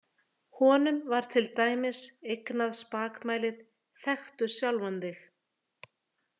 Honum var til dæmis eignað spakmælið Þekktu sjálfan þig!